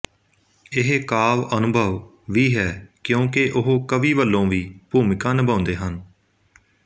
ਇਹ ਕਾਵਿ ਅਨੁਭਵ ਵੀ ਹੈ ਕਿਉਂਕਿ ਉਹ ਕਵੀ ਵਲੋਂ ਵੀ ਭੂਮਿਕਾ ਨਿਭਾਉਦੇ ਹਨ